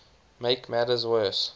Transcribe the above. make matters worse